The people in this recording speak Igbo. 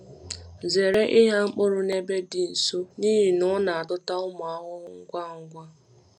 Zere ịgha mkpụrụ n’ebe dị nso n’ihi na ọ na-adọta ụmụ ahụhụ ngwa ngwa.